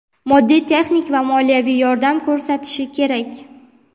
moddiy-texnik va moliyaviy yordam ko‘rsatishi kerak.